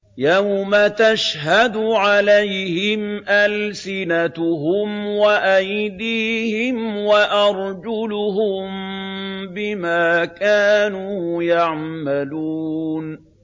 يَوْمَ تَشْهَدُ عَلَيْهِمْ أَلْسِنَتُهُمْ وَأَيْدِيهِمْ وَأَرْجُلُهُم بِمَا كَانُوا يَعْمَلُونَ